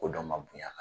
Ko dɔ ma bonya ka ban